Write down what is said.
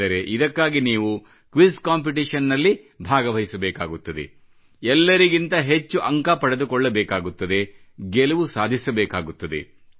ಆದರೆ ಇದಕ್ಕಾಗಿ ನೀವು ಕ್ವಿಜ್ ಕಾಂಪಿಟಿಷನ್ ನಲ್ಲಿ ಭಾಗವಹಿಸಬೇಕಾಗುತ್ತದೆ ಎಲ್ಲರಿಗಿಂತ ಹೆಚ್ಚು ಅಂಕ ಪಡೆದುಕೊಳ್ಳಬೇಕಾಗುತ್ತದೆ ಗೆಲುವು ಸಾಧಿಸಬೇಕಾಗುತ್ತದೆ